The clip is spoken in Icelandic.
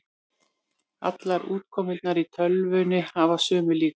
Allar útkomurnar í töflunni hafa sömu líkur.